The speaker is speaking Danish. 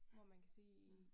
Ja, ja